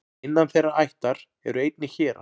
innan þeirrar ættar eru einnig hérar